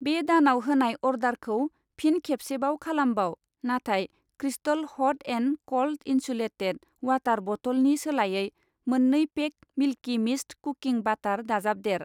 बे दानाव होनाय अर्डारखौ फिन खेबसेबाव खालामबाव, नाथाय crystal hut and cold insulated water बथलनि सोलायै मोननै pack Milky Mist cooking butter दाजाबदेर।